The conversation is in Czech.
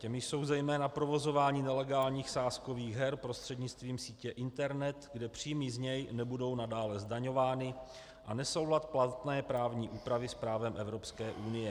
Těmi jsou zejména provozování nelegálních sázkových her prostřednictvím sítě internet, kde příjmy z něj nebudou nadále zdaňovány, a nesoulad platné právní úpravy s právem Evropské unie.